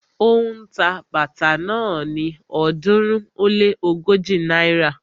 Ó ń ta bàtà náà ni ọ̀ọ́dúnrún ó lé ógójì náírà